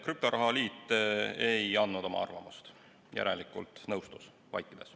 Krüptoraha liit ei andnud oma arvamust, järelikult nõustus vaikides.